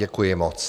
Děkuji moc.